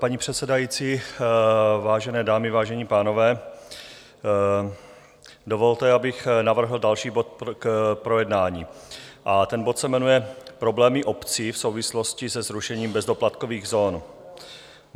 Paní předsedající, vážené dámy, vážení pánové, dovolte, abych navrhl další bod k projednání, a ten bod se jmenuje Problémy obcí v souvislosti se zrušením bezdoplatkových zón.